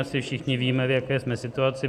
Asi všichni víme, v jaké jsme situaci.